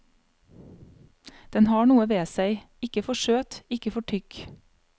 Den har noe ved seg, ikke for søt, ikke for tykk.